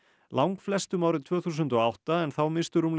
langflestum árið tvö þúsund og átta en þá misstu rúmlega